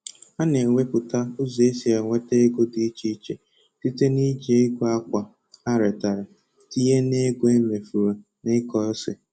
Ha na ewepụta ụzọ esi enweta ego dị iche iche site na-iji ego akwa ha retara tinye na ego emefuru na ịkọ ose.